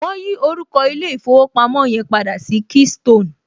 Wọn yí orúkọ ilé ìfowópamọ́ yẹn padà sí keystone